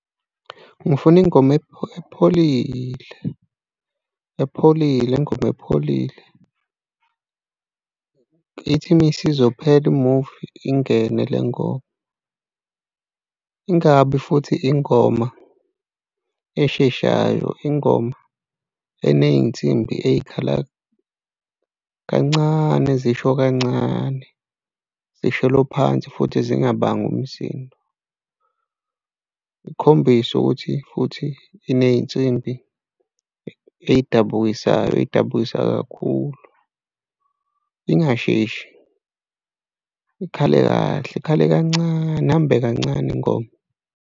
Ngifuna ingoma epholile, epholile, ingoma epholile. Ithi uma isizophela imuvi ingene le ngoba, ingabi futhi ingoma esheshayo, ingoma eney'nsimbi ey'khala kancane, ezisho kancane zisholo phansi futhi zingabangi umsindo ikhombise ukuthi futhi iney'nsimbi ey'dabukisayo ey'dabukisa kakhulu, ingasheshi ikhale kahle ikhale kancane ihambe kancane ingoma.